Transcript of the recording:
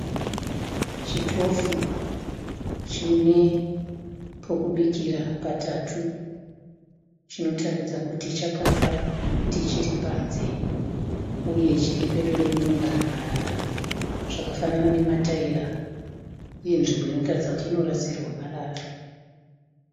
Chitofu chine pokubikira patatu, chinotaridza kuti chakafa nekuti chiripanze uye chiri pedo nekunogara marara, zvakafanana nemataira uyezve nzvimbo inotaridza kuti inorasirwa marara.